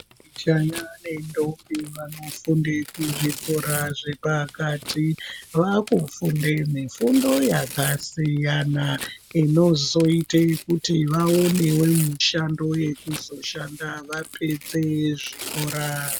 Majaya ne ndombi vanofunde ku zvikora zvepakati vaku funde mifundo yaka siyana inozoite kuti vaonewo mishando yekuzo shanda vapedze zvikora.